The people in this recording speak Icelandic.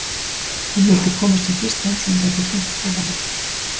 Hann vildi komast sem fyrst heim svo að hann gæti hringt til hennar.